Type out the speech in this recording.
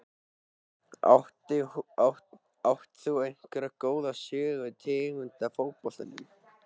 Átt þú einhverja góða sögu tengda fótboltanum?